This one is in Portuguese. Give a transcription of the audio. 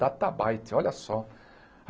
DataByte, olha só.